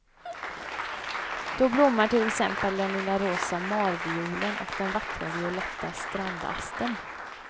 Då blommar till exempel den lilla rosa marviolen och den vackra violetta strandastern.